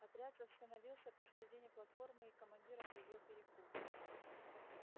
отряд остановился посередине платформы и командир объявил перекур